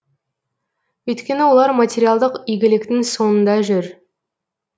өйткені олар материалдық игіліктің соңында жүр